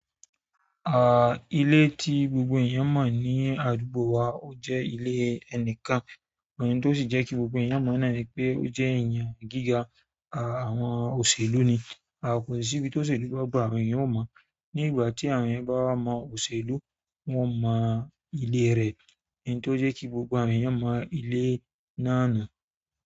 À, ilé tí gbogbo ènìyàn mọ̀ ní àdúgbò wa, ó jẹ́ ilé ẹnìkan, èyí tó sì jẹ́ kí gbogbo ènìyàn mọ̀ náà ni pé ó jẹ́ ènìyàn gíga, à àwọn òṣèlú ni. Kosi ibi ti òṣèlú ba gba àwọn ènìyàn o mo ni ìgbà tí àwọn ènìyàn bá mọ̀ òṣèlú, wọ́n mọ̀ ilé rẹ̀. Ihun tó jẹ́ kí gbogbo àwọn ènìyàn mọ̀ ìlé náà nù.